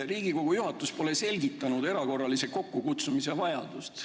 Riigikogu juhatus pole selgitanud erakorralise istungi kokkukutsumise vajadust.